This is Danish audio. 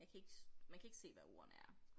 Jeg kan ikke man kan ikke se hvad ordene er